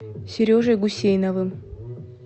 сережей гусейновым